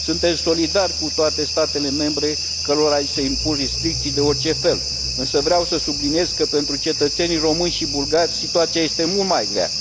Suntem solidari cu toate statele membre cărora li se impun restricții de orice fel, însă vreau să subliniez că pentru cetățenii români și bulgari situația este mult mai grea.